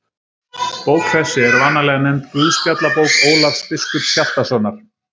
Bók þessi er vanalega nefnd Guðspjallabók Ólafs biskups Hjaltasonar.